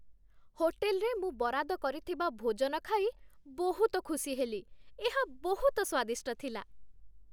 ହୋଟେଲରେ ମୁଁ ବରାଦ କରିଥିବା ଭୋଜନ ଖାଇ ବହୁତ ଖୁସି ହେଲି। ଏହା ବହୁତ ସ୍ୱାଦିଷ୍ଟ ଥିଲା।